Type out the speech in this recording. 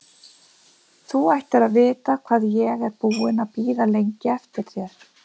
Þú ættir að vita hvað ég er búinn að bíða lengi eftir þér!